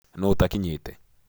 Nũũ ũtakinyĩte